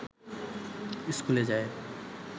স্কুলে যায়